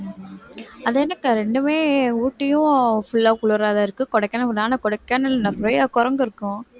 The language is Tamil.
அது என்னக்கா இரண்டுமே ஊட்டியும் full ஆ குளிராதான் இருக்கு கொடைக்கானல் கொடைக்கானல்ல நிறைய குரங்கு இருக்கும்